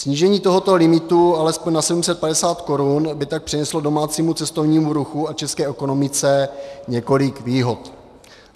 Snížení tohoto limitu alespoň na 750 korun by tak přineslo domácímu cestovnímu ruchu a české ekonomice několik výhod.